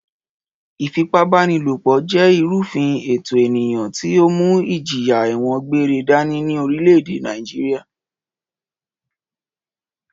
Ìfipábánilòpọ̀ jẹ́ ìrúfin ẹ̀tọ̀ ènìyàn tí ó mú ìjìyà ẹ̀wọ̀n gbére dání ní orílẹ̀-èdè Nàìjíríà